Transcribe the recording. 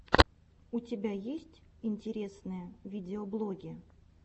у тебя есть интересные видеоблоги